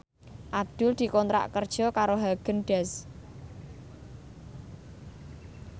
Abdul dikontrak kerja karo Haagen Daazs